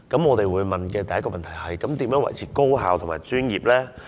我們會問的第一個問題是，如何維持高效及專業呢？